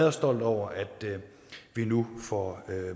og stolt over at vi nu får